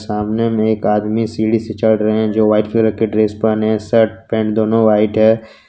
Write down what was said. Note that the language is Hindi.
सामने में एक आदमी सीढ़ी से चढ़ रहे हैं जो वाइट कलर के ड्रेस पहने हैं शर्ट पैंट दोनों व्हाइट है।